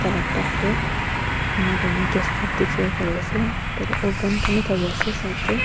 la top toh enika kurina gas stove dekhivo pari ase tatey oven khan vi thaki ase side tae.